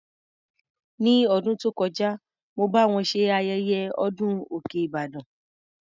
Ní ọdún tó kọjá, mo bá wọn ṣe ayẹyẹ ọdún òkè Ìbàdàn.